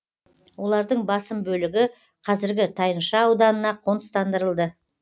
олардың басым бөлігі қазіргі тайынша ауданына қоныстандырылды